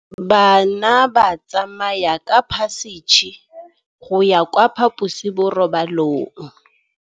Bana ba tsamaya ka phašitshe go ya kwa phaposiborobalong.